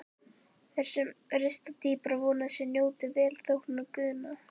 Þeir sem rista dýpra vona að þeir njóti velþóknunar guðanna.